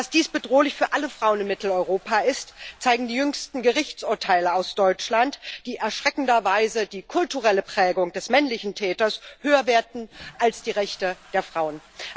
Dass dies bedrohlich für alle Frauen in Mitteleuropa ist, zeigen die jüngsten Gerichtsurteile aus Deutschland, die erschreckenderweise die kulturelle Prägung des männlichen Täters höher werten als die Rechte der Frauen.